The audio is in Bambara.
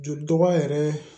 Joli dɔgɔya yɛrɛ